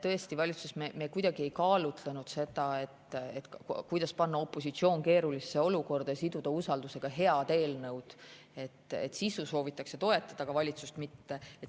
Tõesti, valitsuses me kuidagi ei kaalunud seda, kuidas panna opositsioon keerulisse olukorda ja siduda usaldusega head eelnõud: et sisu soovitakse toetada, aga valitsust mitte.